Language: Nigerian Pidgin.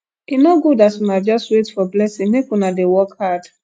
e no good as una just wait for blessing make una dey work hard